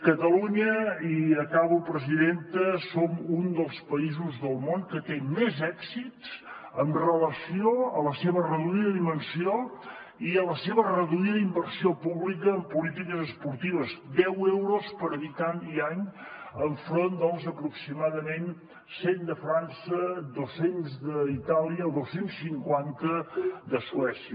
catalunya i acabo presidenta som un dels països del món que té més èxits amb relació a la seva reduïda dimensió i a la seva reduïda inversió pública en polítiques esportives deu euros per habitant i any enfront dels aproximadament cent de frança dos cents d’itàlia o dos cents i cinquanta de suècia